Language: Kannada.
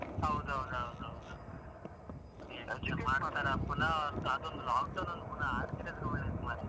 ಹೌದು ಹೌದು ಹೌದು ಹೌದು. ಅದೊಂದು lockdown effect ಒಂದು ಪುನ ಆಗದೆ ಇದ್ರೆ ಒಳ್ಳೇದು ಮಾರೆ.